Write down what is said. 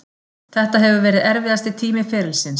Þetta hefur verið erfiðasti tími ferilsins.